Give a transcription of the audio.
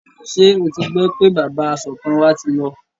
Ṣé o ti gbọ́ pé bàbá asọ̀tàn wa ti lọ?